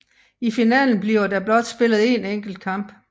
I finalen bliver der blot spillet én enkelt kamp